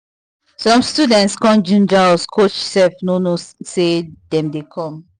some students come ginger us coach sef no know say dem dey come